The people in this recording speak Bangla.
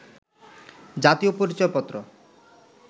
জাতীয় পরিচয়পত্র